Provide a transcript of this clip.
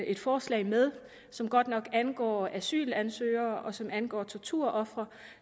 et forslag med som godt nok angår asylansøgere og som angår torturofre